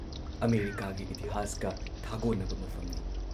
ꯑꯃꯦꯔꯤꯀꯥꯒꯤ ꯏꯇꯤꯍꯥꯁꯀ ꯊꯥꯒꯣꯟꯅꯕ ꯃꯐꯝꯅꯤ ꯫